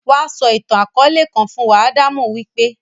Wá sọ ìtàn-akọọlẹ kan fún wa; Adamu wí pé.